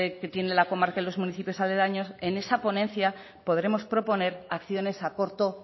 que tiene la comarca y los municipios aledaños en esa ponencia podremos proponer acciones a corto